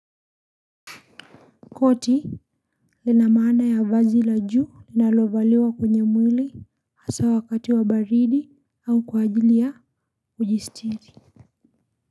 Koti lina maana ya vazi la juu linalovaliwa kwenye mwili hasa wakati wa baridi au kwa ajili ya kujistiri.